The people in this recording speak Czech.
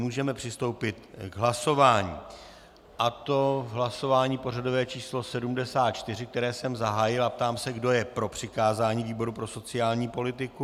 Můžeme přistoupit k hlasování, a to k hlasování pořadové číslo 74, které jsem zahájil, a ptám se, kdo je pro přikázání výboru pro sociální politiku.